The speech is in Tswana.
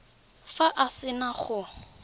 fa a se na go